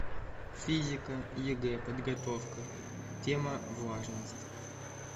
физика егэ подготовка тема влажность